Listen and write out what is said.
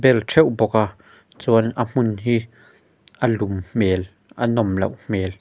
ṭheuh bawk a chuan a hmun hi a lum hmel a nawm loh hmel.